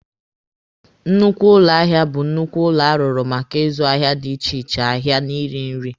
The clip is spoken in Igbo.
Nnukwu ụlọ ahịa bụ nnukwu ụlọ arụrụ maka ịzụ ahịa dị iche iche ahịa na ịrị nri.